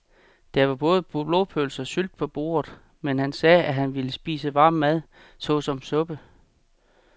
Der var både blodpølse og sylte på bordet, men han sagde, at han bare ville spise varm mad såsom suppe.